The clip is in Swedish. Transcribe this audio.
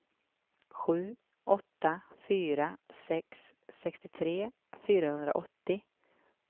sju åtta fyra sex sextiotre fyrahundraåttio